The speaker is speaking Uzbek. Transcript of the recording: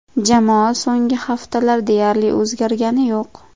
Jamoa so‘nggi haftalar deyarli o‘zgargani yo‘q.